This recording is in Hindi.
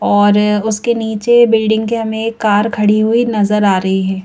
और उसके नीचे बिल्डिंग के हमें कार खड़ी हुई नजर आ रही है ।